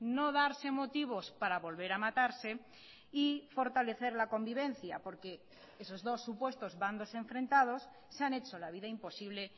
no darse motivos para volver a matarse y fortalecer la convivencia porque esos dos supuestos bandos enfrentados se han hecho la vida imposible